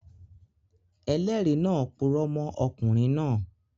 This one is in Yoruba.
Ẹlẹ́rìí náà purọ́ mọ́ ọkùnrin náà